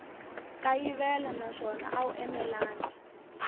kayivela naswona a wu enelangi